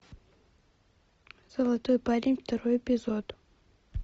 золотой парень второй эпизод